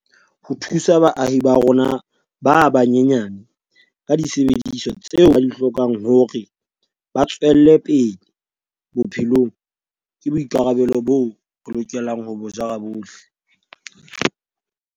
Ho thusa baahi ba rona ba banyenyane ka disebediswa tseo ba di hlokang hore ba tswelle bophelong ke boi karabelo boo re lokelang ho bo jara bohle.